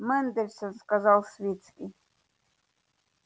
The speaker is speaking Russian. мендельсон сказал свицкий